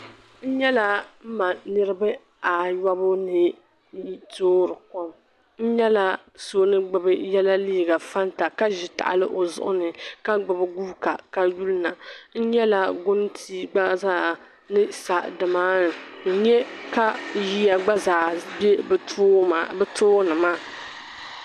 N-nyela m-ma niriba ayɔbu ni toori kom n-nyɛla so ni gbubi yela liiga fanta ka ʒi tahili o zuɣu ni ka gbubi guuga ka yuli na n-nyela guntii gba zaa ni sa di maani n-nya ka yiya gba zaa be bɛ too bɛ tooni maa.